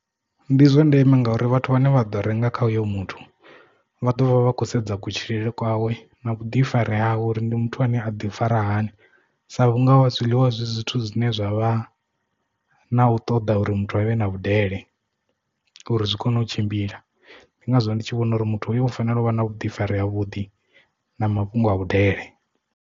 Ndi zwa ndeme ngauri vhathu vhane vha ḓo renga kha hoyo muthu vha ḓovha vha kho sedza kutshilele kwawe na vhuḓifari hawe uri ndi muthu ane a ḓi fara hani sa vhunga wa zwiḽiwa zwi zwithu zwine zwa vha na u ṱoḓa uri muthu avhe na vhudele uri zwi kone u tshimbila ndi ngazwo ndi tshi vhona uri muthu hoyo u fanela u vha na vhuḓifari ha vhuḓi na mafhungo a vhudele.